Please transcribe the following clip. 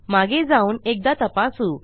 मागे जाऊन एकदा तपासू